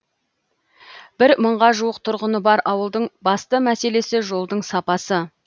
бір мыңға жуық тұрғыны бар ауылдың басты мәселесі жолдың сапасы